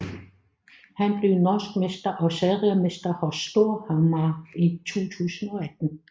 Han blev norsk mester og seriemester hos Storhamar i 2018